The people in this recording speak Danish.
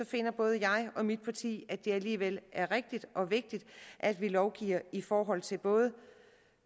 finder både jeg og mit parti at det alligevel er rigtigt og vigtigt at vi lovgiver i forhold til både